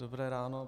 Dobré ráno.